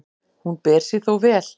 Hún ber sig þó vel.